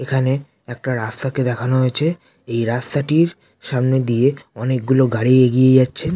এখানে একটা রাস্তা কে দেখানো হয়েছে এই রাস্তাটির সামনে দিয়ে অনেক গুলো গাড়ি এগিয়ে যাচ্ছে।